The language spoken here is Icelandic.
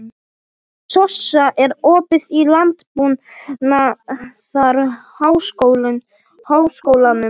Sossa, er opið í Landbúnaðarháskólanum?